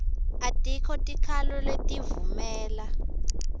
atikho tikhalo letivumela